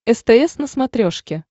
стс на смотрешке